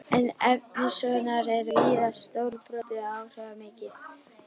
En efni sögunnar er víða stórbrotið og áhrifamikið.